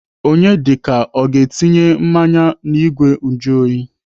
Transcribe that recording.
Onyedika ọ ga-etinye mmanya n'igwe njuoyi?